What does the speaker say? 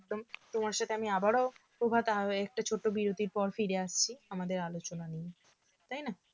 তো~ তোমার সাথে আমি আবারও কথা হবে একটু ছোট্ট বিরতির পর ফিরে আসছি আমাদের আলোচনা নিয়ে তাই না